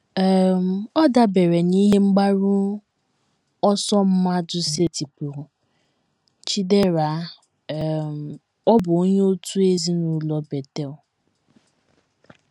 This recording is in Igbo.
“ um Ọ dabeere n’ihe mgbaru ọsọ mmadụ setịpụrụ. ” Chidera, um ọ bụ onye òtù ezinụlọ Betel um